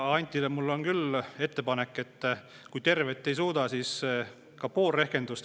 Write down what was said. Antile mul on küll ettepanek, et kui tervet ei suuda, siis tehku pool rehkendust.